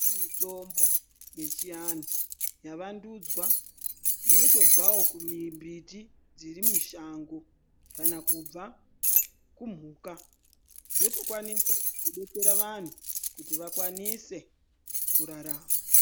Kune mitombo yechiantu yavandudzwa inotobvawo kumimbiti dzirimushango kana kubva kumhuka yotokwanisa kudetsera vantu kuti vakwanise kurarama.